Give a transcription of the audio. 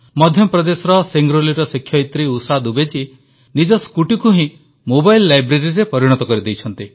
ମଧ୍ୟପ୍ରଦେଶର ସିଙ୍ଗ୍ରୋଲିର ଶିକ୍ଷୟିତ୍ରୀ ଉଷା ଦୁବେ ଜୀ ତ ନିଜ ସ୍କୁଟିକୁ ହିଁ ମୋବାଇଲ୍ ଲାଇବ୍ରେରୀରେ ପରିଣତ କରିଦେଇଛନ୍ତି